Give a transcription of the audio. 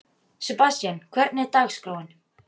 Sebastian, hvernig er dagskráin?